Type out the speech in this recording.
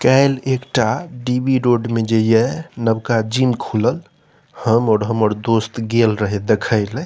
काएल एकटा D B. Road में जे ये नबका जिम खुलल हम और हमर दोस्त गेल रहे देखेले।